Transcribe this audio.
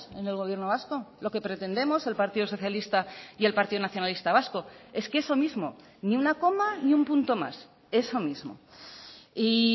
en el gobierno vasco lo que pretendemos el partido socialista y el partido nacionalista vasco es que eso mismo ni una coma ni un punto más eso mismo y